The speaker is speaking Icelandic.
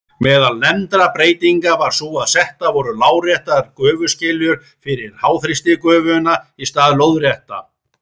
Meðal nefndra breytinga var sú að settar voru láréttar gufuskiljur fyrir háþrýstigufuna í stað lóðréttra.